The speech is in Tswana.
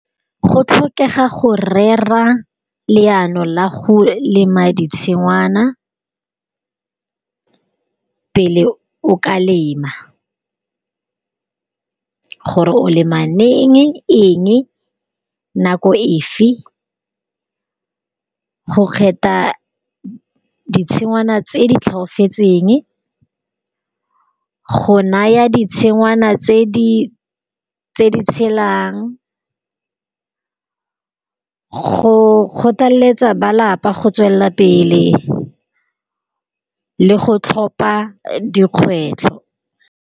Go tlhokega go rera leano la go lema di tshingwana, pele o ka lema. Gore o lema leng eng nako efe go kgetha ditshingwana tse di tlhoafetseng, go naya ditshingwana tse di tshelang, go kgothaletsa ba lapa go tswelela pele, le go tlhopa dikgwetlho.